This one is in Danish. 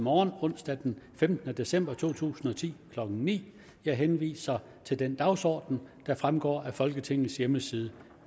morgen onsdag den femtende december to tusind og ti klokken ni jeg henviser til den dagsorden der fremgår af folketingets hjemmeside